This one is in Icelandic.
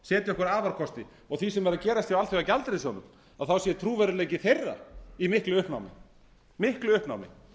setja okkur afarkosti og því sem er að gerast hjá alþjóðagjaldeyrissjóðnum sé trúverðugleiki þeirra í miklu uppnámi